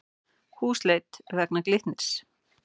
Húsleit vegna Glitnis